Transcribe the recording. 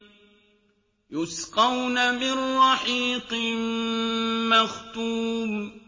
يُسْقَوْنَ مِن رَّحِيقٍ مَّخْتُومٍ